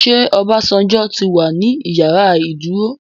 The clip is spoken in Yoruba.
Ṣé Obasanjo tí wà ní ìyàrá ìdúró?